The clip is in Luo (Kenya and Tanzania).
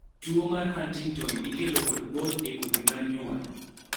tuo mar Huntington ikelo kod both e kodhi mar nyuol